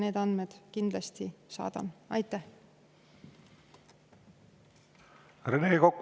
Rene Kokk, palun!